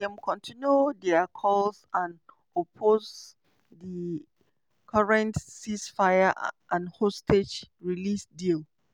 dem continue dia calls and oppose di current ceasefire and hostage release deal.